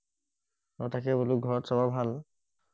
অ তাকে বলো ঘৰত চবৰে ভাল